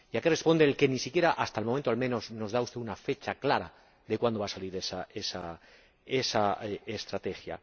¿Y a qué responde el que ni siquiera, hasta el momento al menos, nos dé usted una fecha clara de cuándo se va a presentar esa estrategia?